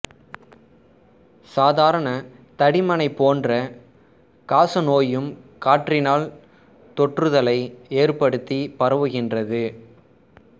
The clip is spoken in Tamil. சாதாரண தடிமனைப் போன்றே காசநோயும் காற்றினால் தொற்றுதலை ஏற்படுத்தி பரவுகின்றது